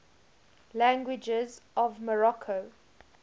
languages of morocco